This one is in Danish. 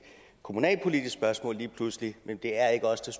kommunalpolitisk spørgsmål lige pludselig men det er ikke os der